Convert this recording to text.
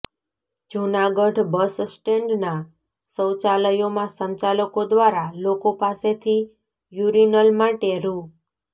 જૂનાગઢ બસસ્ટેન્ડના શૌચાલયોમાં સંચાલકો દ્વારા લોકો પાસેથી યુરિનલ માટે રૂ